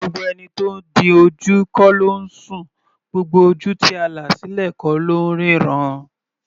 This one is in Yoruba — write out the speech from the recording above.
Gbogbo ẹni tó di ojú kọ́ ló ńsùn; gbogbo ojú tí a là sílẹ̀ kọ́ ló ńríran.